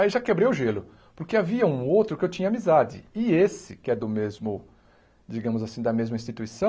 Aí já quebrei o gelo, porque havia um outro que eu tinha amizade, e esse, que é do mesmo, digamos assim, da mesma